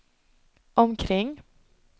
omkring